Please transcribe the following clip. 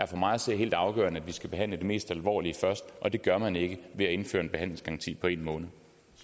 for mig at se helt afgørende at vi skal behandle det mest alvorlige først og det gør man ikke ved at indføre en behandlingsgaranti på en måned